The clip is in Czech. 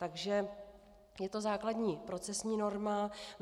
Takže je to základní procesní norma.